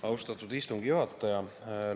Austatud istungi juhataja!